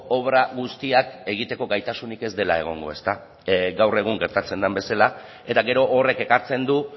obra guztiak egiteko gaitasunik ez dela egongo gaur egun gertatzen den bezala eta gero horrek ekartzen du